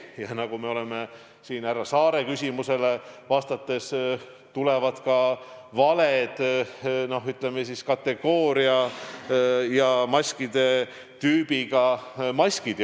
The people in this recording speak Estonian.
Ja nagu siin härra Saare küsimusele vastates öeldud, sihtkohtadesse jõuavad ka vale kategooria ja tüübiga maskid.